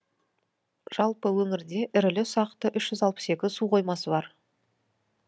жалпы өңірде ірілі ұсақты үш жүз алпыс екі су қоймасы бар